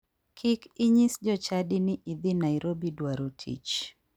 Kik inyis jochadi ni idhi nairobi dwaro tich.